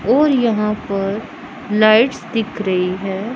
और यहां पर लाइट्स दिख रही हैं।